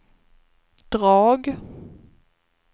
drag